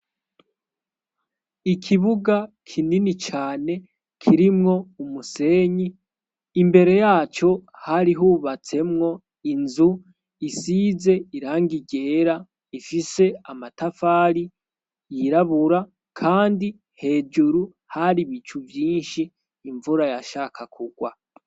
Ikibuga kinini cane kirimwo umusenyi imbere yaco hari hubatsemwo inzu isize irangigera ifise amatafali yirabura kandi hejuru hari bicu vyinshi imvura yashaka kugwa.